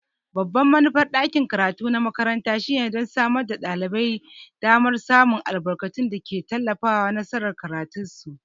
Babban manufar ɗakin karatu na makaranta shine don samar da ɗalibai damar samun albarkatun da ke tallafawa nasarar karatunsu.